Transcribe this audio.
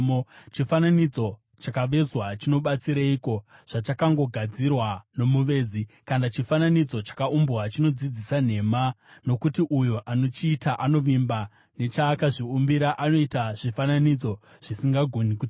“Chifananidzo chakavezwa chinobatsireiko, zvachakangogadzirwa nomuvezi? Kana chifananidzo chakaumbwa, chinodzidzisa nhema? Nokuti uyo anochiita anovimba nechaakazviumbira; anoita zvifananidzo zvisingagoni kutaura.